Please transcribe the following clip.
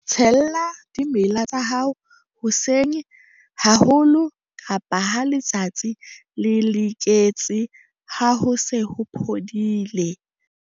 Tshella dimela tsa hao hoseng haholo kapa ha letsatsi le diketse ha ho se ho phodile.